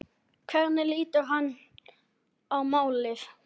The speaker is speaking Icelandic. Hvernig lítur hann á málið?